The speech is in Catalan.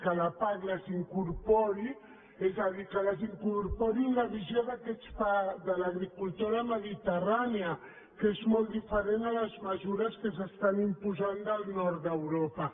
que la pac les incorpori és a dir que les incorpori en la visió de l’agricultura mediterrània que és molt diferent de les mesures que s’estan imposant del nord d’europa